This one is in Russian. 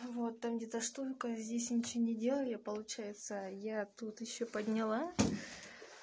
вот там где-то столько здесь ничего не делая получается я тут ещё подняла